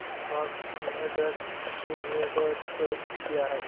Bosch limited dividend pay किती आहे